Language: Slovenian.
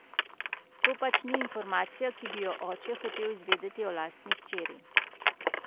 To pač ni informacija, ki bi jo oče hotel izvedeti o lastni hčeri.